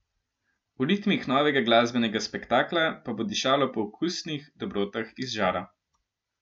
V ritmih novega glasbenega spektakla pa bo dišalo po okusnih dobrotah iz žara.